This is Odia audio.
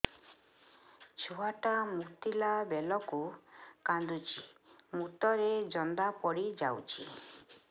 ଛୁଆ ଟା ମୁତିଲା ବେଳକୁ କାନ୍ଦୁଚି ମୁତ ରେ ଜନ୍ଦା ପଡ଼ି ଯାଉଛି